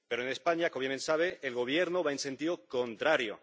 Pero, en España, como bien sabe, el Gobierno va en sentido contrario.